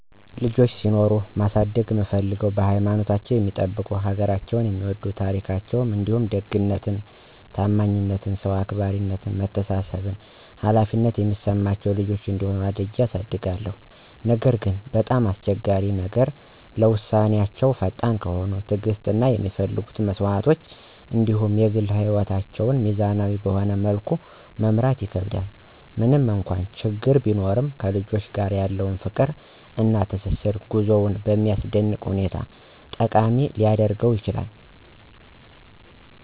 ልጆች ሲኖሩኝ ማሳደግ እምፍልገው ሀይማኖታቸውን የሚጠብቁ፣ ሀገራቸውን የሚወድ፣ ታራካቸዉን እንዲሁም ደግነት፣ ታማኝነት፣ ሰዉ አክባራነት፣ መተሳሰብ እና ኃላፊነትን የሚሰማቸው ልጆች እንዲሆኑ አድርጌ አሳድጋለሁ። ነገር ግን፣ በጣም አስቸጋሪው ነገር ለዉሳነወች ፈጣን ከሆነ፣ ትዕግስት እና የሚፈለጉ መስዋዕቶች እንዲሁም የግል ህይወትን ሚዛናዊ በሆነ መልኩ መምራት ይከከብዳል። ምንም እንኳን ችግሮች ቢኖሩም ከልጆች ጋር ያለው ፍቅር እና ትስስር ጉዞውን በሚያስደንቅ ሁኔታ ጠቃሚ ሊያደርገውም ይችላል።